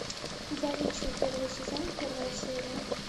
я лечу первый сезон первая серия